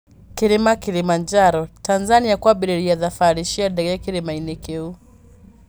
Kĩrĩma Kirimanjaro: Tanzania kwambĩrĩria thabari cia ndege kĩrĩma-inĩ kĩu